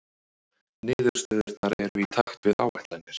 Niðurstöðurnar eru í takt við áætlanir